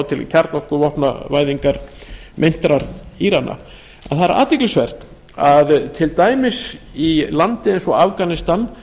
til kjarnorkuvopnavæðingar meintra írana að það er athyglisvert að til dæmis í landi eins og afganistan